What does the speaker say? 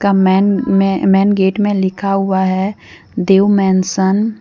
Man main gate में लिखा हुआ है देव मेनसन ।